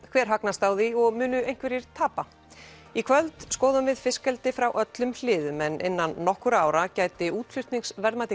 hver hagnast á því og munu einhverjir tapa í kvöld skoðum við fiskeldi frá öllum hliðum en innan nokkurra ára gæti útflutningsverðmæti